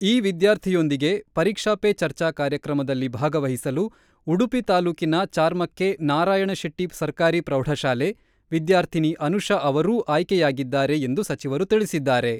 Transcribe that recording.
ಈ ವಿದ್ಯಾರ್ಥಿಯೊಂದಿಗೆ ಪರೀಕ್ಷೆ ಪೇ ಚರ್ಚಾ ಕಾರ್ಯಕ್ರಮದಲ್ಲಿ ಭಾಗವಹಿಸಲು ಉಡುಪಿ ತಾಲೂಕಿನ ಚಾರ್ಮಕ್ಕೆ ನಾರಾಯಣ ಶೆಟ್ಟಿ ಸರಕಾರಿ ಪ್ರೌಢಶಾಲೆ, ವಿದ್ಯಾರ್ಥಿನಿ ಅನುಷಾ ಅವರೂ ಆಯ್ಕೆಯಾಗಿದ್ದಾರೆ ಎಂದು ಸಚಿವರು ತಿಳಿಸಿದ್ದಾರೆ.